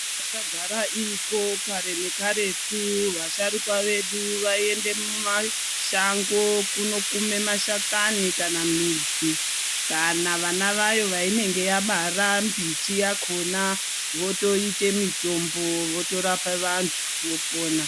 Yakagara iriko kare nekaretu vasharukwa vedu vaiende mumashango kunokume mashakani, kana midzi, kana vana vayo vainenge yabara mbiti yakhona votoite mitombo, votorapa vantu, vopona.